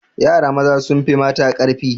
Yara maza sun fi mata ƙarfi